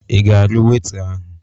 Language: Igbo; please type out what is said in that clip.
Ị ga-alụ Weita ahụ?